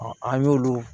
an y'olu